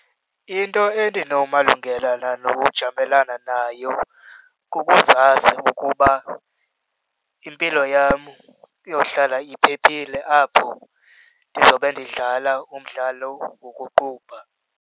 Into endinomalungelana nokujamelana nayo kukuzazi ukuba impilo yam iyohlala iphephile apho ndizobe ndidlala umdlalo wokuqubha.